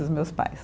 Dos meus pais.